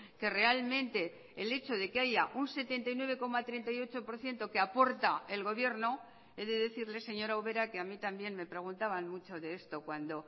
que realmente el hecho de que haya un setenta y nueve coma treinta y ocho por ciento que aporta el gobierno he de decirle señora ubera que a mí también me preguntaban mucho de esto cuando